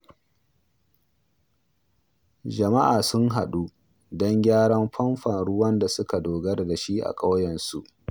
Jama’a sun haɗu don gyara famfon ruwan da suka dogara da shi a kauyensu.